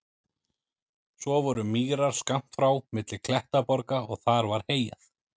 Svo voru mýrar skammt frá milli klettaborga og þar var heyjað.